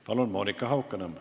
Palun, Monika Haukanõmm!